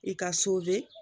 I ka